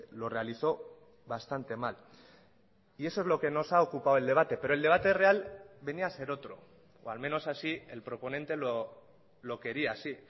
lo realizó bastante mal y eso es lo que nos ha ocupado el debate pero el debate real venía a ser otro o al menos así el proponente lo quería así